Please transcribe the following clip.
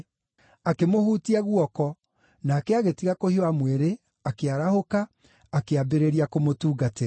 Akĩmũhutia guoko, nake agĩtiga kũhiũha mwĩrĩ, akĩarahũka, akĩambĩrĩria kũmũtungatĩra.